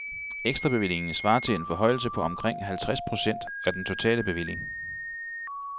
Ekstrabevillingen svarer til en forhøjelse på omkring halvtreds procent af den totale bevilling.